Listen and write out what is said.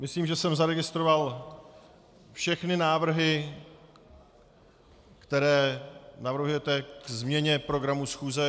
Myslím, že jsem zaregistroval všechny návrhy, které navrhujete ke změně programu schůze.